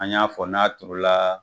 An y'a fɔ n'a turu la